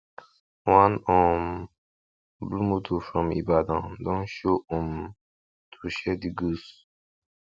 one um blue motor from ibadan don show um to share the goods